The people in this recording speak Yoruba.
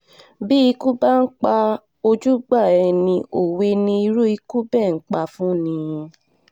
bí ikú bá ń pa ojúgbà ẹni òwe ni irú ikú bẹ́ẹ̀ ń pa fún ni